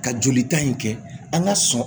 Ka joli ta in kɛ an ka sɔn